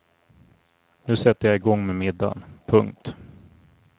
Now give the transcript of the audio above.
Nu sätter jag igång med middagen. punkt